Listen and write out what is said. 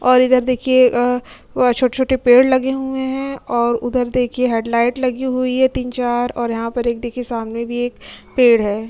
और इधर देखिये अ वह छोटे-छोटे पेड़ लगे हुए हैं और उत्तर देख हेडलाइट लगी हुई है तीन-चार और यहाँ पर एक देखिये सामने भी पेड़ है।